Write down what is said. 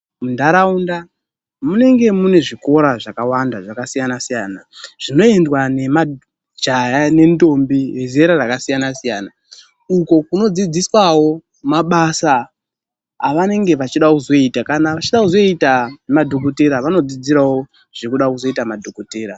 Muntaraunda munenge mune zvikora zvakawanda zvakasiyana siyana. Zvinoendwa nemajaya nendombi vezera rakasiyana siyana. Uko kunodzidziswawo mabasa avanenge vachida kuzoita. Kana vachida kuzoita madhokodheya vanodzidzirawo zvekuda kuzoita madhokodheya.